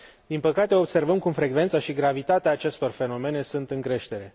Din păcate, observăm cum frecvența și gravitatea acestor fenomene sunt în creștere.